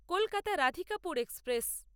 Kolkata Radhikapur express